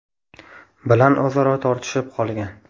bilan o‘zaro tortishib qolgan.